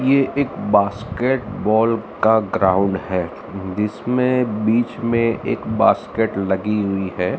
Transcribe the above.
ये एक बास्केटबॉल का ग्राउंड है जिसमें बीच में एक बास्केट लगी हुई है।